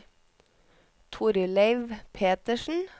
Torleiv Petersen